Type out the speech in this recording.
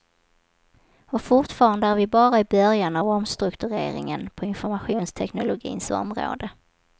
Och fortfarande är vi bara i början av omstruktureringen på informationsteknologins område.